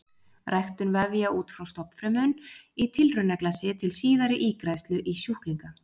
Ræktun vefja út frá stofnfrumum í tilraunaglasi til síðari ígræðslu í sjúklinga.